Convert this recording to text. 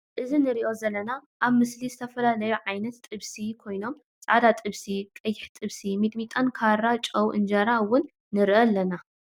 እዚ ንሪኦ ዘለና ኣብ ምስሊ ዝትፈላለዩ ዓይነት ጥብሲታት ኮይኖም ፃዕዳ ጥብሲ ፡ ቅይሕ ጥብሲ ሚጥሚጣን ካራ ጨዉ እንጀራ እዉን ንርኢ ኣለና ።